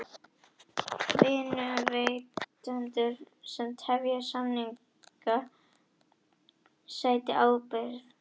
Vinnuveitendur sem tefja samninga sæti ábyrgð